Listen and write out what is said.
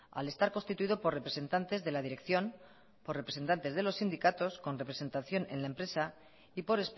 al estar constituido por representantes de la dirección por representantes de los sindicatos con representación en la empresa y por